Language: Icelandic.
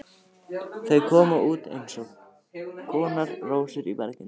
Þar koma út eins konar rósir í berginu.